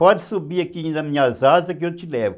Pode subir aqui nas minhas asas que eu te levo.